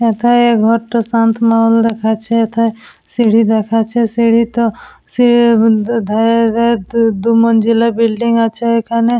একা এই ঘরটা শান্ত মহল দেখাচ্ছে এথে সিঁড়ি দেখাচ্ছে। সিঁড়ি তো সি উম ধের দু দুমান জেলার বিল্ডিং আছে এখানে ।